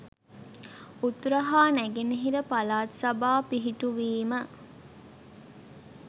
උතුර හා නැගෙනහිර පළාත් සභා පිහිටු වීම